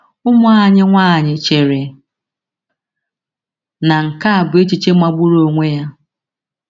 Ụmụ anyị nwanyị chere na nke a bụ echiche magburu onwe ya.